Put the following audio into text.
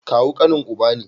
Kawu kanin uba ne